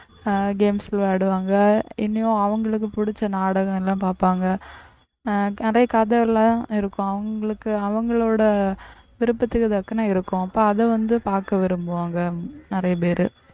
அஹ் games விளையாடுவாங்க இனியும் அவங்களுக்கு புடிச்ச நாடகம் எல்லாம் பாப்பாங்க அஹ் நிறைய கதை எல்லாம் இருக்கும், அவங்களுக்கு அவங்களோட விருப்பத்துக்கு தக்கன இருக்கும் அப்ப அதை வந்து பார்க்க விரும்புவாங்க நிறைய பேரு